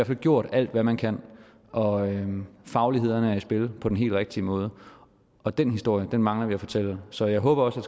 fald gjort alt hvad man kan og fagligheden er i spil på den helt rigtige måde og den historie mangler vi at fortælle så jeg håber også at